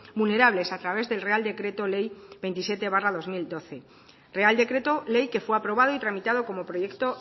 vulnerables a través del real decreto ley veintisiete barra dos mil doce real decreto ley que fue aprobado y tramitado como proyecto